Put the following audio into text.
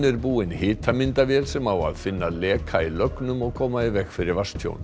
er búinn hitamyndavél sem á að finna leka í lögnum og koma í veg fyrir vatnstjón